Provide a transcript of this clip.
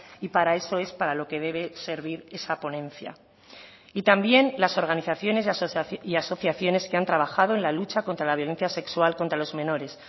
y para eso es para lo que debe servir esa ponencia y también las organizaciones y asociaciones que han trabajado en la lucha contra la violencia sexual contra los menores